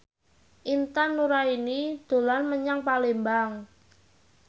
Intan Nuraini dolan menyang Palembang